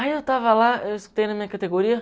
Aí eu tava lá, eu escutei na minha categoria